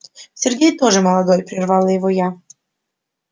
сергей тоже молодой прервала его я